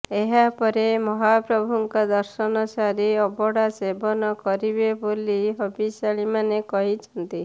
ଏହାପରେ ମହାପ୍ରଭୁଙ୍କ ଦର୍ଶନ ସାରି ଅବଢ଼ା ସେବନ କରିବେ ବୋଲି ହବିଷ୍ୟାଳିମାନେ କହିଛନ୍ତି